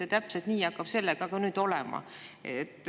Ja täpselt nii hakkab ka sellega nüüd olema.